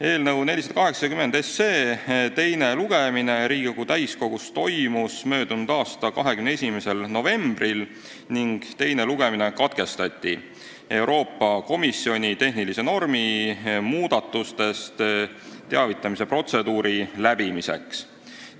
Eelnõu 480 teine lugemine Riigikogu täiskogus toimus möödunud aasta 21. novembril ning teine lugemine katkestati Euroopa Komisjoni tehnilise normi muudatusest teavitamise protseduuri jaoks.